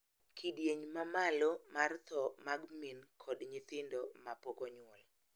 Kidieny ma malo mar tho mag min kod nyithindo ma pok onyuol